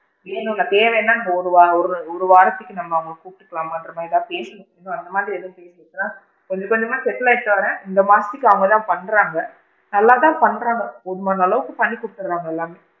வேணும்னா தேவைனா ஒரு வாரம் ஒரு ஒரு வாரத்துக்கு நம்ம அவுங்கள கூப்டுக்கலாமான்ற மாதிரி தான் பேசிட்டு இருக்கோம் அந்த மாதிரி எதுவும் பேசல கொஞ்ச கொஞ்சமா settle ஆகிட்டு வராங்க இந்த மாசத்துக்கு அவுங்க தான் பண்றாங்க நல்லா தான் பண்றாங்க போதுமான அளவுக்கு பண்றாங்க எல்லாமே,